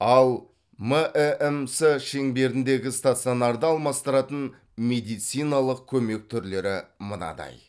ал мәмс шеңберіндегі стационарды алмастыратын медициналық көмек түрлері мынадай